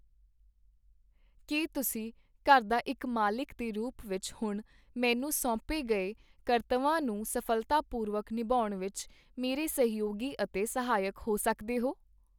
ਕੀ ਤੁਸੀਂ ਘਰ ਦਾ ਇਕ ਮਾਲਕ ਦੇ ਰੂਪ ਵਿੱਚ ਹੁਣ ਮੈਨੂੰ ਸੌਂਪੇ ਗਏ ਕਰਤੱਵਾਂ ਨੂੰ ਸਫ਼ਲਤਾਪੂਰਵਕ ਨਿਭਾਉਣ ਵਿੱਚ ਮੇਰੇ ਸਹਿਯੋਗੀ ਅਤੇ ਸਹਾਇਕ ਹੋ ਸਕਦੇ ਹੋ?